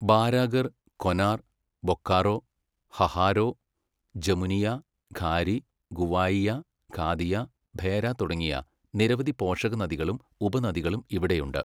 ബാരാകർ, കൊനാർ, ബൊക്കാറോ, ഹഹാരോ, ജമുനിയ, ഘാരി, ഗുവായിയ, ഖാദിയ, ഭേര തുടങ്ങിയ നിരവധി പോഷകനദികളും ഉപനദികളും ഇവിടെയുണ്ട്.